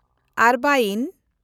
ᱟᱨᱵᱟᱭᱤᱱ